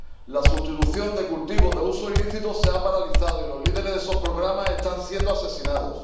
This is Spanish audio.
La sustitución de cultivos de uso ilícito se ha paralizado y los líderes de esos programas están siendo asesinados.